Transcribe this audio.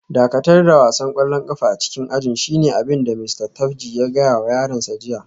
Dakatar da wasan kwallon kafa a cikin ajin shine abin da Mista Tapji ya gaya wa yaransa jiya